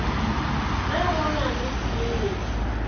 ge go na le tliliniki